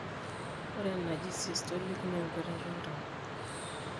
ore enaji systolic naa enketata oltau